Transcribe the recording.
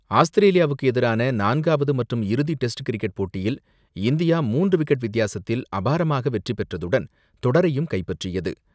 ஆஸ்திரேலியாவுக்கு எதிரான நான்காவது மற்றும் இறுதி டெஸ்ட் கிரிக்கெட் போட்டியில் இந்தியா மூன்று விக்கெட் வித்தியாசத்தில் அபாரமாக வெற்றிபெற்றதுடன், தொடரையும் கைப்பற்றியது.